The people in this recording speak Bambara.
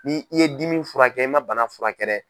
Ni i ye dimi furakɛ i ma bana furakɛ dɛ!